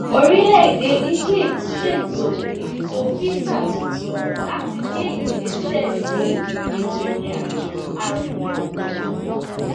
orílẹèdè egypt ṣètò ètò fíìsà tuntun láti gbé ìgbésẹ sí ètò ìrìnàjò arìnrìnàjò